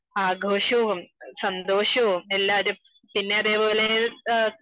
ആഘോഷോം സന്തോഷോം എല്ലാരും പിന്നെ അതേപോലെ